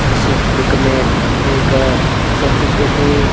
इस पिक में एक संस्कृति।